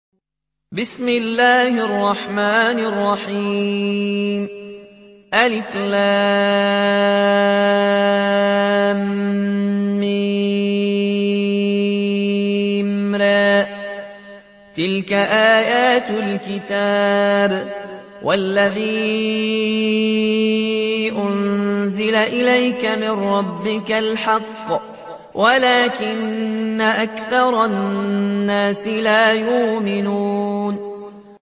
المر ۚ تِلْكَ آيَاتُ الْكِتَابِ ۗ وَالَّذِي أُنزِلَ إِلَيْكَ مِن رَّبِّكَ الْحَقُّ وَلَٰكِنَّ أَكْثَرَ النَّاسِ لَا يُؤْمِنُونَ